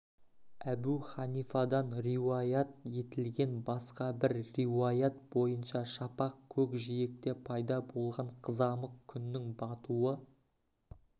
әбу ханифадан риуаят етілген басқа бір риуаят бойынша шапақ көкжиекте пайда болған қызамық күннің батуы